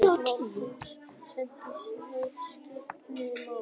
ef málefni snertir viðskiptaleyndarmál.